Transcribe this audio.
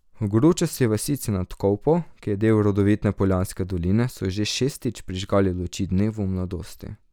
V gručasti vasici nad Kolpo, ki je del rodovitne Poljanske doline, so že šestič prižgali luči dnevu mladosti.